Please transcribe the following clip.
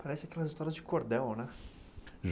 Parece aquelas histórias de cordel, né?